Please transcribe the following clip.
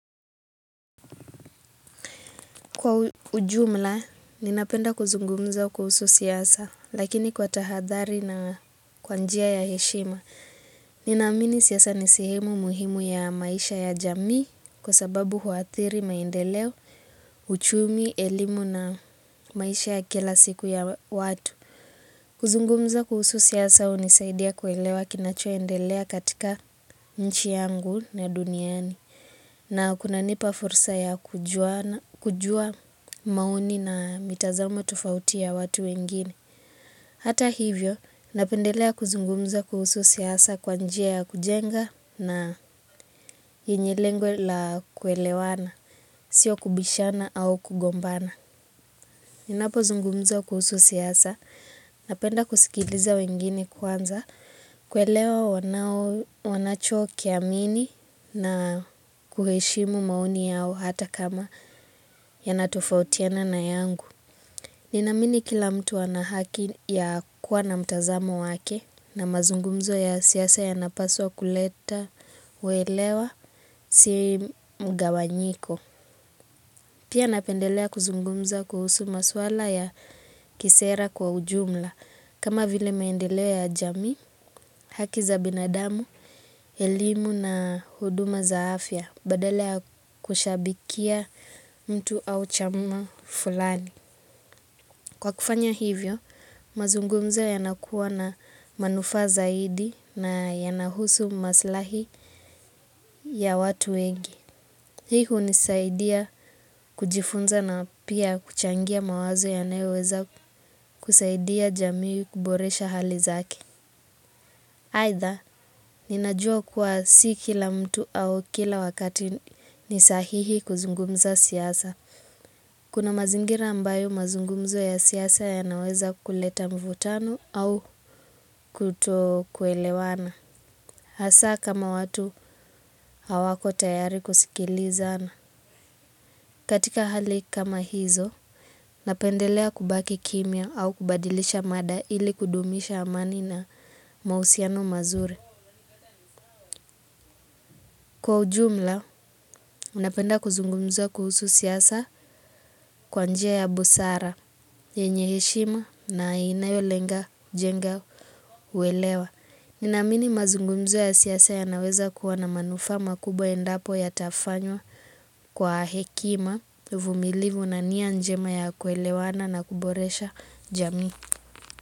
Kwa ujumla, ninapenda kuzungumza kuhusu siasa, lakini kwa tahadhari na kwa njia ya heshima. Ninaamini siasa ni sehemu muhimu ya maisha ya jamii, kwa sababu huathiri maendeleo, uchumi, elimu na maisha ya kila siku ya watu. Kuzungumza kuhusu siasa, unisaidia kuelewa kinachoendelea katika nchi yangu na duniani. Na kunanipa fursa ya kujua maoni na mitazamo tofauti ya watu wengine. Hata hivyo, napendelea kuzungumza kuhusu siasa kwa njia ya kujenga na yenye lengo la kuelewana, sio kubishana au kugombana. Ninapozungumza kuhusu siasa, napenda kusikiliza wengine kwanza, kuelewa wanachokiamini na kuheshimu maoni yao hata kama yanatofautiana na yangu. Ninaamini kila mtu ana haki ya kuwa na mtazamo wake na mazungumzo ya siasa yanapaswa kuleta uelewa siri mgawanyiko. Pia napendelea kuzungumza kuhusu maswala ya kisera kwa ujumla, kama vile maendeleo ya jamii, haki za binadamu, elimu na huduma za afya, badala ya kushabikia mtu au chama fulani. Kwa kufanya hivyo, mazungumzo yanakuwa na manufaa zaidi na yanahusu maslahi ya watu wengi. Hii hunisaidia kujifunza na pia kuchangia mawazo yanayoweza kusaidia jamii kuboresha hali zake. Aidha, ninajua kuwa si kila mtu au kila wakati ni sahihi kuzungumza siasa. Kuna mazingira ambayo mazungumzo ya siasa yanaweza kuleta mvutano au kuto kuelewana. Asa kama watu hawako tayari kusikilizana. Katika hali kama hizo, napendelea kubaki kimya au kubadilisha mada ili kudumisha amani na mausiano mazuri. Kwa ujumla, napenda kuzungumza kuhusu siasa kwa njia ya busara, yenye heshima na inayolenga jenga uelewa. Ninaamini mazungumzo ya siasa yanaweza kuwa na manufaa ma makubwa endapo yatafanywa kwa hekima, uvumilivu na nia njema ya kuelewana na kuboresha jami.